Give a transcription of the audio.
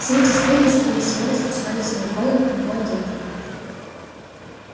все эти сплетни скорее всего распускались сноуболлом и его агентами